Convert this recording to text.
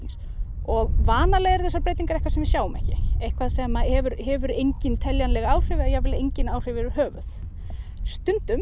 og vanalega eru þessar breytingar eitthvað sem við sjáum ekki eitthvað sem hefur hefur engin teljanleg áhrif eða engin áhrif yfir höfuð stundum